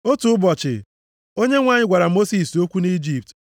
Otu ụbọchị, Onyenwe anyị gwara Mosis okwu nʼIjipt,